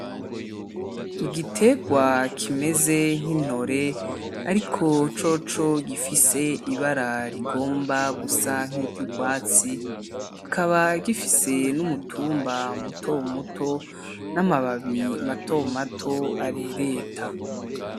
Igiterwa kimeze nkintore ariko coco gifise ibara rigomba gusa nk'iryurwatsi kikaba gifise n'umutumba muto muto n'amababi mato mato arereta .